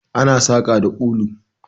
Ana saƙa da ulu.